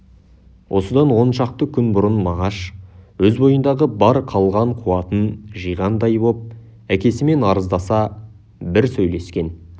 осыдан он шақты күн бұрын мағаш өз бойындағы бар қалған қуатын жиғандай боп әкесімен арыздаса бір сөйлескен